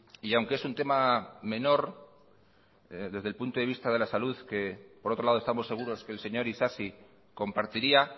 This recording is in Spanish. y aunque es un tema menor desde el punto de vista de la salud que por otro lado estamos seguros que el señor isasi compartiría